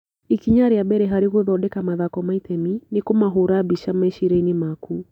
Ikinya rĩa mbere harĩ gũthondeka mathako ma itemi nĩ kũmahũũra mbica meciria-inĩ maku.